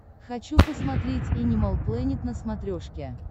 хочу посмотреть энимал плэнет на смотрешке